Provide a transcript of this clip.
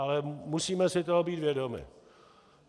Ale musíme si toho být vědomi.